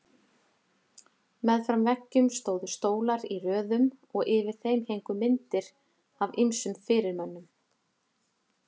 Meðfram veggjum stóðu stólar í röðum og yfir þeim héngu myndir af ýmsum fyrirmönnum.